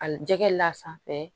Al jɛgɛ la sanfɛ